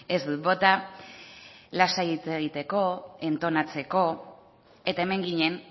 ez dut bota lasai hitz egiteko entonatzeko eta hemen ginen